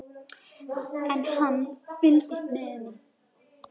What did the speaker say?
En hann fylgist með henni.